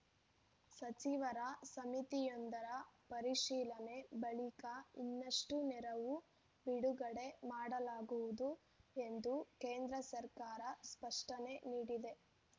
ಸಚಿವರ ಸಮಿತಿಯೊಂದರ ಪರಿಶೀಲನೆ ಬಳಿಕ ಇನ್ನಷ್ಟುನೆರವು ಬಿಡುಗಡೆ ಮಾಡಲಾಗುವುದು ಎಂದು ಕೇಂದ್ರ ಸರ್ಕಾರ ಸ್ಪಷ್ಟನೆ ನೀಡಿದೆ